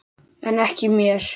En ekki mér.